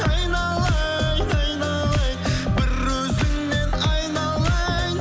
айналайын айналайын бір өзіңнен айналайын